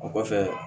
O kɔfɛ